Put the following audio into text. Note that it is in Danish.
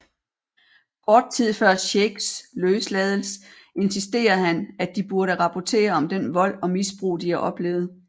Kort tid før Shakes løslades insisterer han at de burde rapportere om den vold og misbrug de har oplevet